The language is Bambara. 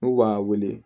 N'u b'a wele